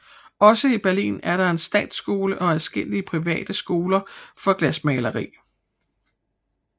Også i Berlin er der en statsskole og adskillige private skoler for glasmaleri